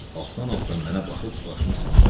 Altdan-altdan mənə baxıb başını sambayır.